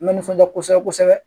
N bɛ nisɔndiya kosɛbɛ kosɛbɛ